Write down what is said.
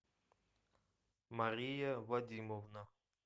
мария вадимовна